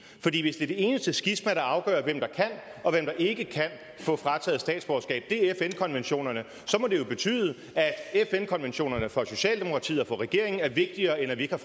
eneste skisma der afgør hvem der kan og hvem der ikke kan få frataget statsborgerskab er fn konventionerne så må det jo betyde at fn konventionerne for socialdemokratiet og for regeringen er vigtigere end at vi